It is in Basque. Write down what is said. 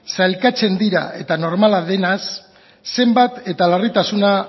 sailkatzen dira eta normala denez zenbat eta larritasuna